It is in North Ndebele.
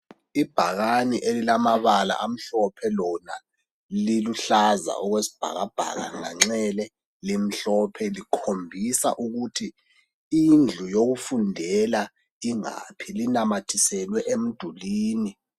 Ibhakane elilamabala amhlophe lona liluhlaza okwesibhakabhaka, nganxele limhlophe, likhombisa ukuthi indlu yokufundela ingaphi .Linamathiselwe emdulwini.